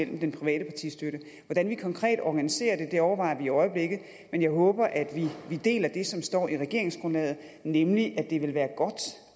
den private partistøtte hvordan vi konkret organiserer det overvejer vi i øjeblikket men jeg håber at vi deler det som står i regeringsgrundlaget nemlig at det vil være godt